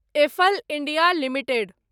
apple India limited